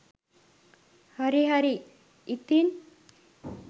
හරි හරි ඉතින්.